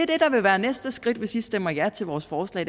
det der vil være næste skridt hvis i stemmer ja til vores forslag